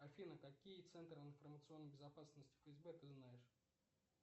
афина какие центры информационной безопасности фсб ты знаешь